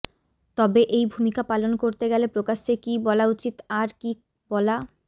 তবে এই ভূমিকা পালন করতে গেলে প্রকাশ্যে কী বলা উচিত আর কী বলা